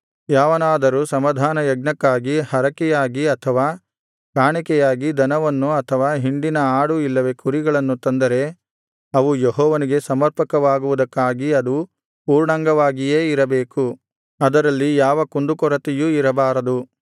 ಯಾವನಾದರೂ ಸಮಾಧಾನಯಜ್ಞಕ್ಕಾಗಿ ಹರಕೆಯಾಗಿ ಅಥವಾ ಕಾಣಿಕೆಯಾಗಿ ದನವನ್ನು ಅಥವಾ ಹಿಂಡಿನ ಆಡು ಇಲ್ಲವೇ ಕುರಿಗಳನ್ನು ತಂದರೆ ಅವು ಯೆಹೋವನಿಗೆ ಸಮರ್ಪಕವಾಗುವುದಕ್ಕಾಗಿ ಅದು ಪೂರ್ಣಾಂಗವಾಗಿಯೇ ಇರಬೇಕು ಅದರಲ್ಲಿ ಯಾವ ಕುಂದುಕೊರತೆಯೂ ಇರಬಾರದು